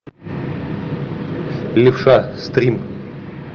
левша стрим